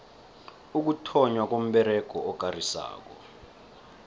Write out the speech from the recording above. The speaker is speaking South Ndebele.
ukuthonnywa komberego okarisako